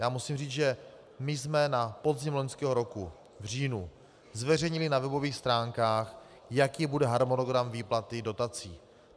Já musím říct, že my jsme na podzim loňského roku, v říjnu, zveřejnili na webových stránkách, jaký bude harmonogram výplaty dotací.